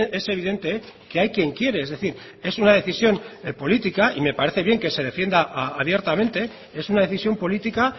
es evidente que hay quien quiere es decir es una decisión política y me parece bien que se defienda abiertamente es una decisión política